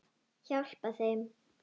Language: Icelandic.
Hjálpa þeim.